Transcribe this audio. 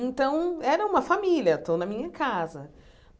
Então, era uma família, estou na minha casa.